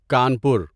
Kanpur